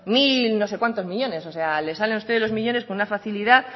mil no sé cuántos millónes o sea les salen a ustedes los millónes con una facilidad